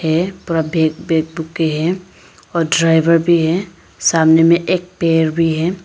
ये के है और ड्राइवर भी है सामने में एक पेड़ भी है।